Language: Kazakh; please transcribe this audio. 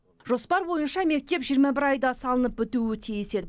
жоспар бойынша мектеп жиырма бір айда салынып бітуі тиіс еді